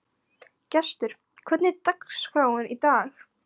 Gestur, hvernig er dagskráin í dag?